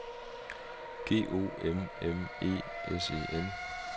G O M M E S E N